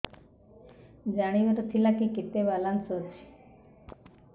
ଜାଣିବାର ଥିଲା କି କେତେ ବାଲାନ୍ସ ଅଛି